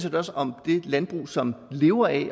også om det landbrug som lever af